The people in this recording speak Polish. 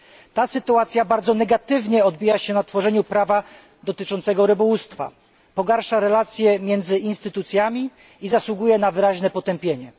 Ta sytuacja bardzo negatywnie odbija się na tworzeniu prawa dotyczącego rybołówstwa, pogarsza relacje między instytucjami i zasługuje na wyraźne potępienie.